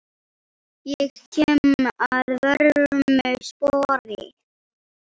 Ég kem að vörmu spori.